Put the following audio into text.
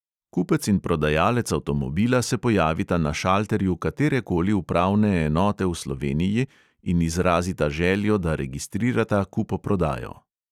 Kupec in prodajalec avtomobila se pojavita na šalterju katerekoli upravne enote v sloveniji in izrazita željo, da registrirata kupoprodajo.